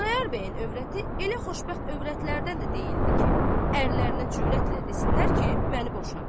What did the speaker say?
Xudayar bəyin övrəti elə xoşbəxt övrətlərdən də deyildi ki, ərlərinə cürətlə desinlər ki, məni boşa.